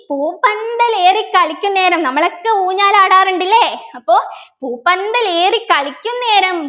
പൂപ്പന്തലേറിക്കളിക്കുന്നേരം നമ്മളൊക്കെ ഊഞ്ഞാലാടാറുണ്ട് ല്ലേ അപ്പൊ പൂപ്പന്തലേറിക്കളിക്കുന്നേരം